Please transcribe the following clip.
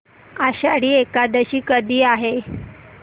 आषाढी एकादशी कधी आहे